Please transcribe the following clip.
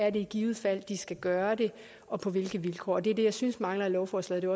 i givet fald skal gøre det og på hvilke vilkår det er det jeg synes mangler i lovforslaget og